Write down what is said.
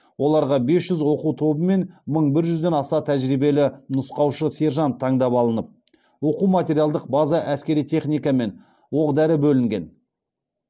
оларға бес жүз оқу тобы мен мың бір жүзден аса тәжірибелі нұсқаушы сержант таңдап алынып оқу материалдық база әскери техника мен оқ дәрі бөлінген